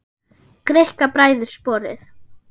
Greikka bræður sporið.